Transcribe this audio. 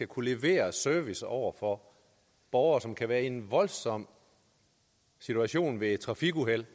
kunne levere service over for borgere som kan være i en voldsom situation ved et trafikuheld